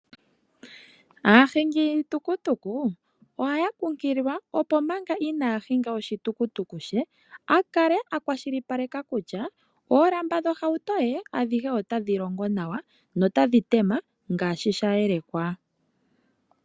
Aahingi yiitukutuku ohaya kunkililwa, opo manga inaahinga oshitukutuku she akale akwashilipaleka kutya oolamba dhohauto ye adhihe otadhi longo nawa notadhi tema ngaashi sha yelekwa.